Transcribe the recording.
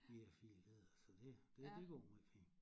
Vi er 4 ledere så det det det går måj fint